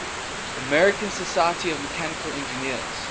american society of mechanical engineers